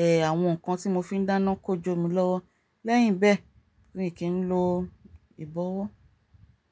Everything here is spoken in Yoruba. e, àwọn nǹkan tí mo fi n dáná kó jó mi lọ́wọ́. Lẹ́yìn bẹ́ẹ̀ mi kì lo ìbọwọ́.